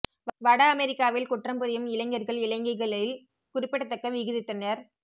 வட அமெரிக்காவில் குற்றம் புரியும் இளைஞர்கள்இ இளைஞிகளில் குறிப்பிடத்தக்க விகிதத்தினர்